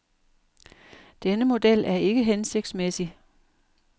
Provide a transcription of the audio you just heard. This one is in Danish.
Denne model er ikke hensigtsmæssig.